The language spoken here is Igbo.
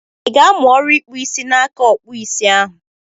Ị ga-amụ ọrụ ịkpụ isi n'aka Ọkpụụ isi ahụ?